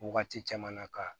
Wagati caman na ka